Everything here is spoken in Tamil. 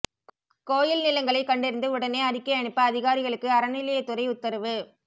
கோயில் நிலங்களை கண்டறிந்து உடனே அறிக்கை அனுப்ப அதிகாரிகளுக்கு அறநிலையத்துறை உத்தரவு